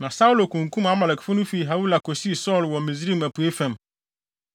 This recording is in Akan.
Na Saulo kunkum Amalekfo no fii Hawila kosii Sur wɔ Misraim apuei fam.